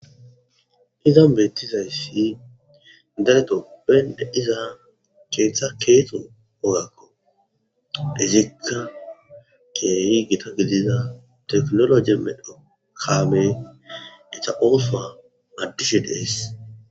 Izan bettizaysi gadde giddon dizza keththa kexo woggakko izikka keehi gitta giddizza techinologe medhdho kame etha osoy adise de'es.